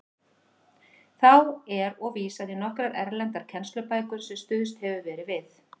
Þá er og vísað í nokkrar erlendar kennslubækur, sem stuðst hefur verið við.